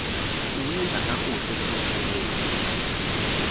kuwenza kakuhle umsebenzi